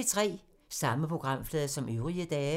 Samme programflade som øvrige dage